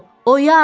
Oyan!